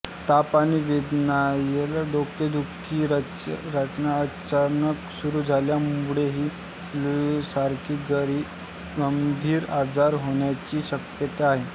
ताप आणि वेदनादायक डोकेदुखी अचानक अचानक सुरू झाल्यामुळे ही फ्लूसारखी गंभीर आजार होण्याची शक्यता आहे